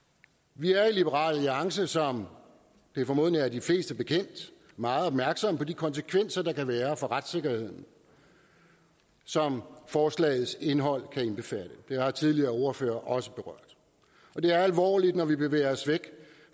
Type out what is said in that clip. vi er i liberal alliance som det formodentlig er de fleste bekendt meget opmærksomme på de konsekvenser der kan være for retssikkerheden som forslagets indhold kan indbefatte det har tidligere ordførere også berørt det er alvorligt når vi bevæger os væk